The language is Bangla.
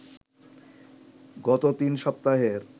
গত তিন সপ্তাহের